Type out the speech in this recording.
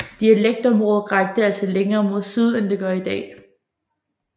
Dialekktområdet rakte altså længere mod syd end det gør i dag